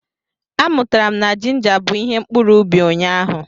Amụtara m na jinja bụ ihe mkpuru ubi ụnyaahụ.